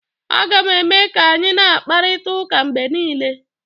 Aga m eme ka anyị na-akparịta ụka mgbe niile